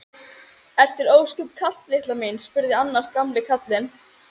Er þér ósköp kalt litla mín? spurði annar gamli karlinn.